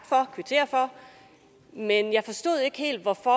for kvittere for men jeg forstod ikke helt hvorfor